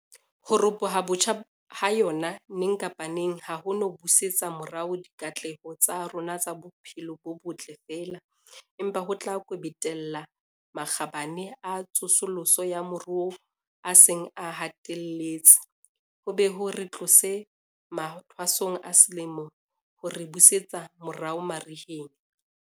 Ho ropoha botjha ha yona neng kapa neng ha ho no busetsa morao dikatleho tsa rona tsa bophelo bo botle feela, empa ho tla kwebetella makgabane a tsosoloso ya moruo a seng a hlahelletse, ho be ho re tlose mathwasong a selemo ho re busetse morao mariheng.